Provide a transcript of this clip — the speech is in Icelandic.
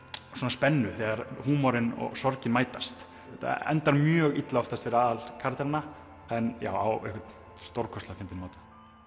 spennu þegar húmorinn og sorgin mætast þetta endar mjög illa oftast fyrir aðal karakterana en á einhvern stórkostlega fyndinn máta